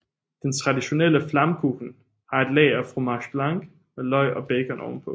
Den traditionelle Flammkuchen har et lag af fromage blanc med løg og bacon ovenpå